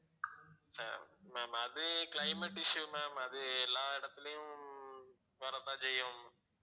ஹம் ma'am அது climate issue ma'am அது எல்லா இடத்திலயும் வர தான் செய்யும்